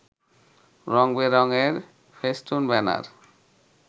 রং-বেরং এর ফেস্টুন-ব্যানার